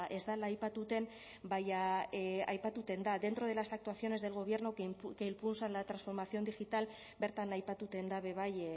ez dela aipatuten baina aipatuten da dentro de las actuaciones del gobierno que impulsan la transformación digital bertan aipatuten da be bai